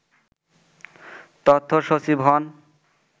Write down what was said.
তথ্যসচিব হন